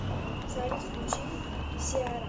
салют включи сиара